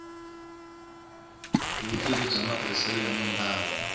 vutivi bya matirhiselo ya mimbangu